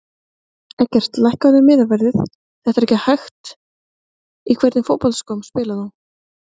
Eggert lækkaðu miðaverðið þetta er ekki hægt Í hvernig fótboltaskóm spilar þú?